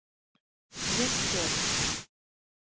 Viðfjörð